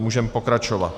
Můžeme pokračovat.